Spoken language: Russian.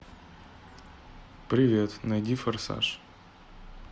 привет найди форсаж